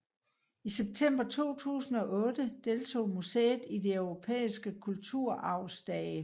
I september 2008 deltog museet i de europæiske kulturarvsdage